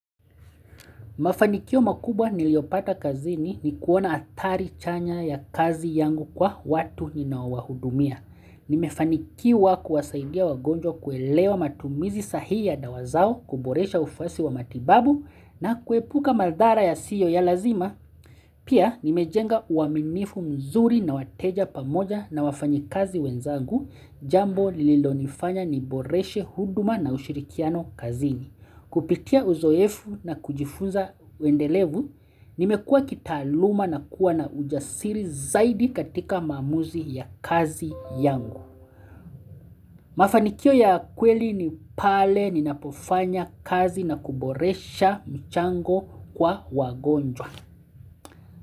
Mafanikio makubwa niliopata kazini ni kuona atari chanya ya kazi yangu kwa watu ninaowahudumia. Nimefanikiwa kuwasaidia wagonjwa kuelewa matumizi sahihi ya dawa zao kuboresha ufasi wa matibabu na kuepuka madhara yasiyo ya lazima. Pia nimejenga uaminifu mzuri na wateja pamoja na wafanyi kazi wenzagu jambo lililo nifanya ni boreshe huduma na ushirikiano kazini. Kupitia uzoefu na kujifunza wendelevu, nimekua kitaaluma na kuwa na ujasiri zaidi katika maamuzi ya kazi yangu. Mafanikio ya kweli ni pale ninapofanya kazi na kuboresha mchango kwa wagonjwa.